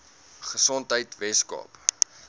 gesondheidweskaap